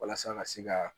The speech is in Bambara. Walasa ka se ka